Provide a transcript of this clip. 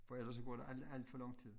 For ellers så går der alt alt for lang tid